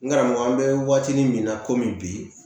N karamɔgɔ an bɛ waatinin min na komi bi